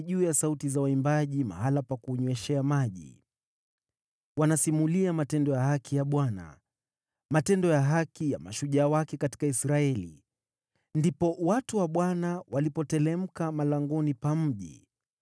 juu ya sauti za waimbaji mahali pa kunyweshea maji. Wanasimulia matendo ya haki ya Bwana , matendo ya haki ya mashujaa wake katika Israeli. “Ndipo watu wa Bwana walipoteremka malangoni pa mji.